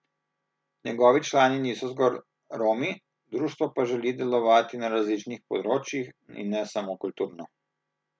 Njegovi člani niso zgolj Romi, društvo pa želi delovati na različnih področjih, in ne samo kulturno.